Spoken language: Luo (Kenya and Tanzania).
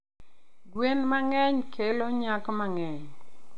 Gwen mang'eny kelo nyak mang`eny.